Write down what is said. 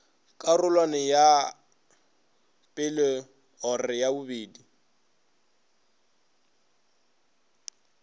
karolwaneng ya i or ii